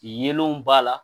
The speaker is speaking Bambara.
Yeelenw b'a la